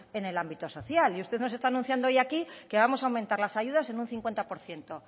en el ámbito social y usted nos está anunciando hoy aquí que vamos a aumentar las ayudas en un cincuenta por ciento